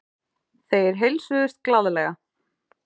Þeir heilsuðust glaðlega.